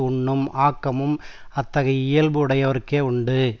உண்ணும் ஆக்கமும் அத்தகைய இயல்பு உடையவர்க்கே உண்டு